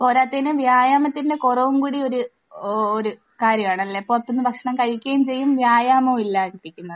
പോരാത്തതിന് വ്യായാമത്തിന്റെ കുറവും കൂടി ഒരു ഓരു കാര്യമാണ്. അല്ലെ? പുറത്തു നിന്ന് ഭക്ഷണം കഴിക്കുകയും ചെയ്യും വ്യായാമവുമില്ലാതെ ഇരിക്കുന്നത്.